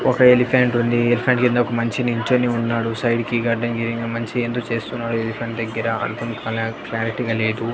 ఒక ఎలిఫెంట్ ఉంది ఎలిఫెంట్ కింద ఒక మనిషి నిల్చొని వున్నాడు సైడ్ కి గడ్డం గీసే మనషి ఏందో చేస్తున్నాడు ఎలిఫెంట్ దగ్గర అర్ధంకాల క్లారిటీ గా లేదు.